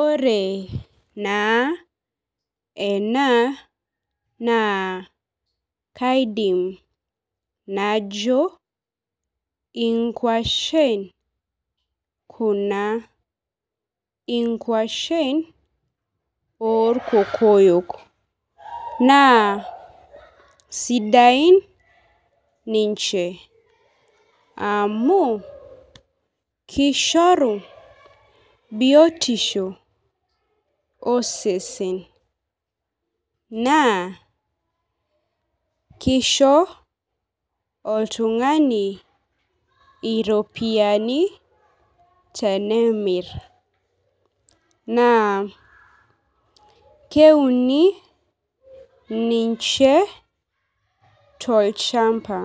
Ore naa ena naa kaidim najo inkuashen kuna inkuashen orkokoyok naa sidain ninche amu kishoru biotisho osesen naa kisho oltung'ani iropiyiani tenemirr naa keuni ninche tolchamba